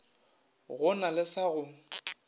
go na le sa go